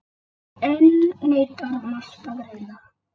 Enn neitar Mast að greiða.